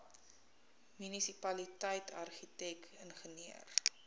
munisipaliteit argitek ingenieur